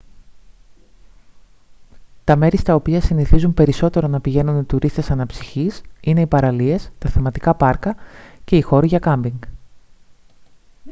τα μέρη στα οποία συνηθίζουν περισσότερο να πηγαίνουν οι τουρίστες αναψυχής είναι οι παραλίες τα θεματικά πάρκα και οι χώροι για κάμπινγκ